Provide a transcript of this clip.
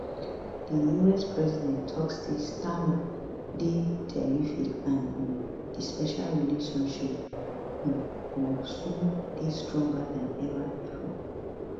di us president tok say starmer dey terrific and um di special relationship um go soon dey stronger dan ever bifor